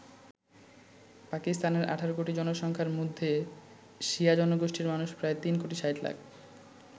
পাকিস্তানের ১৮ কোটি জনসংখ্যার মধ্যে শিয়া জনগোষ্ঠির মানুষ প্রায় ৩ কোটি ৬০ লাখ।